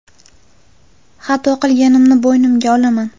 Xato qilganimni bo‘ynimga olaman.